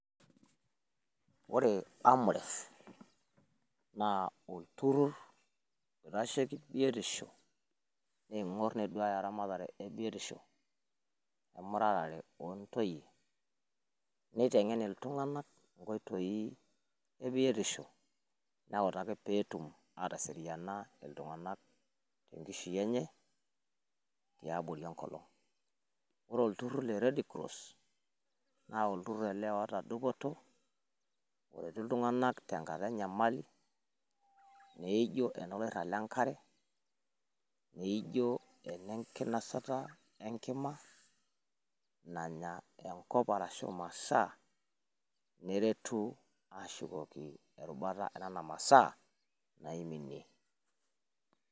Ore AMREF naa olturr oitasheki biotisho, niing'or neduaya eramatare e biotisho naijo emuratare onntoyie. Neitegen iltung'anak nkoitoi e biotisho newutaki pee etum aateseriana iltung'anak enkishui enye tiabori enkolong. Ore olturr le red cross naa olturr ele oota dupoto. Oretu iltung'anak tenkata enyamali naijo oloirrab le nkare, naijo enenkinosata e nkima nanya enkop arashu imasaa neretu aashukoki erubata enena masaa naiminie.